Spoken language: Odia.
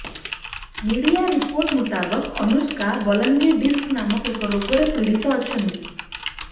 ମିଡିଆ ରିପୋର୍ଟ ମୁତାବକ ଅନୁଷ୍କା ବଲଜିଂ ଡିସ୍କ ନାମକ ଏକ ରୋଗରେ ପୀଡିତ ଅଛନ୍ତି